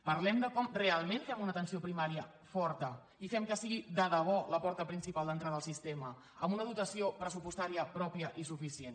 parlem de com realment fem una atenció primària forta i fem que sigui de debò la porta principal d’entrada al sistema amb una dotació pressupostària pròpia i suficient